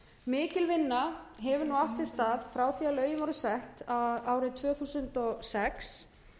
mikil vinna hefur nú átt sér stað frá því að lögin voru sett árið tvö þúsund og sex